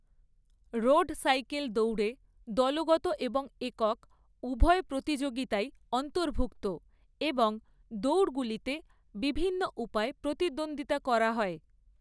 Road cycle দৌড়ে দলগত এবং একক উভয় প্রতিযোগিতাই অন্তর্ভুক্ত এবং দৌড়গুলিতে বিভিন্ন উপায়ে প্রতিদ্বন্দ্বিতা করা হয়।